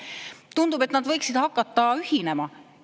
Tundub, et nad võiksid hakata ühinema.